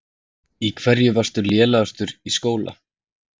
Í hverju varstu lélegastur í skóla?